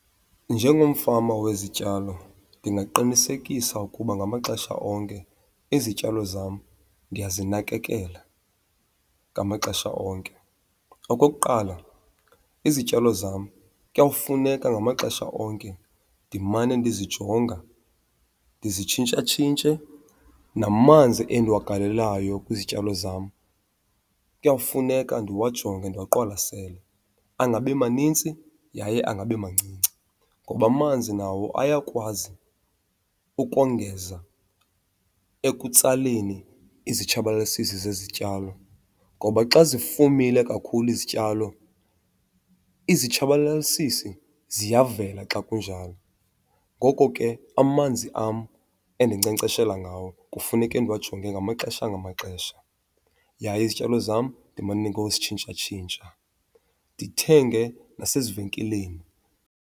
Njengomfama wezityalo ndingaqinisekisa ukuba ngamaxesha onke izityalo zam ndiyazinakekela ngamaxesha onke. Okokuqala, izityalo zam kuyawufuneka ngamaxesha onke ndimane ndizijonga ndizitshintshatshintshe. Namanzi endiwagalelayo kwizityalo zam kuyawufuneka ndiwajonge ndiwaqwalasele, angabi manintsi yaye angabi mancinci. Ngoba amanzi nawo ayakwazi ukongeza ekutsaleni izitshabalalisisi zezityalo. Ngoba xa zifumile kakhulu izityalo, izitshabalalisisi ziyavela xa kunjalo. Ngoko ke amanzi am endinkcenkceshela ngawo kufuneke ndiwajonge ngamaxesha ngamaxesha yaye izityalo zam ndimane ngozitshintshatshintsha, ndithenge nasezivenkileni.